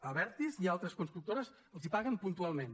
a abertis i altres constructores els paguen puntualment